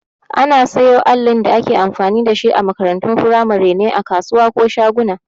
Ana siyo allin da ake amfani dashi a makarantun firamare ne a kasuwa ko shaguna